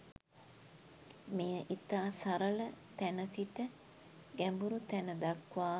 මෙය ඉතා සරල තැන සිට ගැඹුරු තැන දක්වා